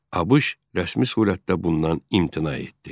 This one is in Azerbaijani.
ABŞ rəsmi surətdə bundan imtina etdi.